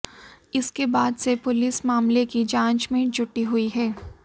इसके बाद से पुलिस मामले की जांच में जुटी हुई है